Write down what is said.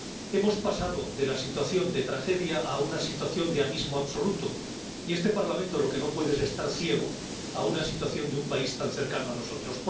Hemos pasado de la situación de tragedia a una situación de abismo absoluto, y este Parlamento lo que no puede es estar ciego ante una situación de un país tan cercano a nosotros.